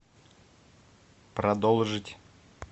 продолжить